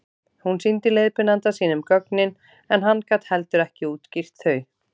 hún sýndi leiðbeinanda sínum gögnin en hann gat heldur ekki útskýrt þau